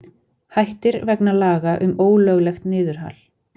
Hættir vegna laga um ólöglegt niðurhal